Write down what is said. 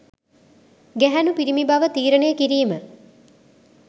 ගැහැණු පිරිමි බව තීරණය කිරීම